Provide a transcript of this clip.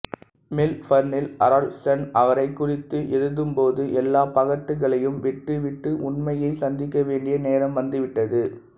மெல்பர்னில் Herald Sun அவரைக் குறித்து எழுதும்போது எல்லா பகட்டுகளையும் விட்டு விட்டு உண்மையை சந்திக்க வேண்டிய நேரம் வந்துவிட்டது